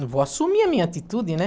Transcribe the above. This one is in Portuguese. Vou assumir a minha atitude, né?